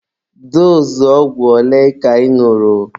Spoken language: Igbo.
Doozụ ogwụ ole ka ị ñụrụ?